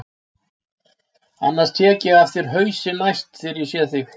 Annars tek ég af þér hausinn næst þegar ég sé þig.